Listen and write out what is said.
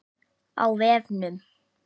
Á vefnum